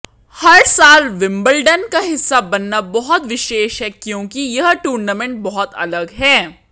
हर साल विंबलडन का हिस्सा बनना बहुत विशेष है क्योंकि यह टूर्नामेंट बहुत अलग है